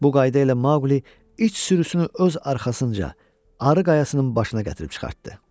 Bu qayda ilə Mauqli iç sürüsünü öz arxasınca arı qayalasının başına gətirib çıxartdı.